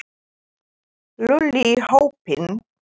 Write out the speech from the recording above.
Lúlli í hópinn.